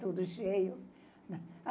Tudo cheio.